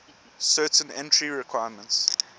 certain entry requirements